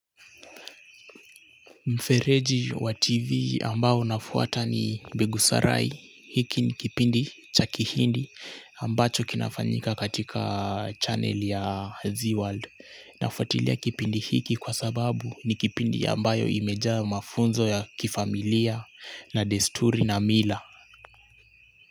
Mfereji wa TV ambao nafuata ni Begusarai hiki ni kipindi cha Kihindi ambacho kinafanyika katika channel ya Zeeworld. Nafuatilia kipindi hiki kwa sababu ni kipindi ambayo imejaa mafunzo ya kifamilia na desturi na mila.